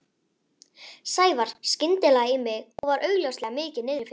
Sævar skyndilega í mig og var augljóslega mikið niðri fyrir.